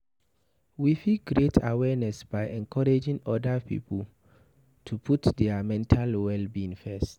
we fit create awareness by encouraging oda pipo to put their mental well-being first